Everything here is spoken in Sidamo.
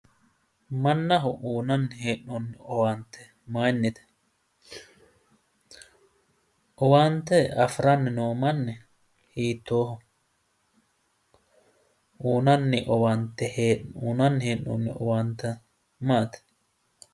mannaho uyiinanni hee'noonni owaante mayiinnite?, owaante afiranni noo manni hiittooho?' uyiinanni hee'noonni owaante maati?